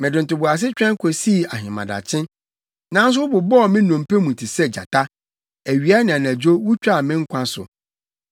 Mede ntoboase twɛn kosii ahemadakye, nanso wɔbobɔɔ me nnompe mu te sɛ gyata; awia ne anadwo wutwaa me nkwa so.